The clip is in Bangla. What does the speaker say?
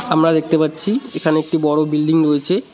আমরা দেখতে পাচ্ছি এখানে একটি বড় বিল্ডিং রয়েছে।